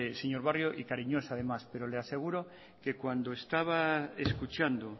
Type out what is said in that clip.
señor barrio y cariñoso además pero le aseguro que cuando estaba escuchando